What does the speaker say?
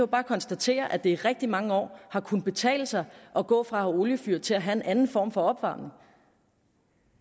bare konstatere at det i rigtig mange år har kunnet betale sig at gå fra oliefyr til at have en anden form for opvarmning